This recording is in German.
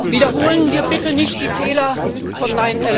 Wiederholen wir bitte nicht die Fehler von